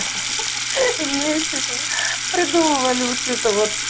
ахаха вместе то придумывали вот это вот